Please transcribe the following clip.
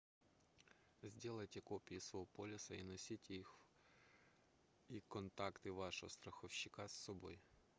сделайте копии своего полиса и носите их и контакты вашего страховщика с собой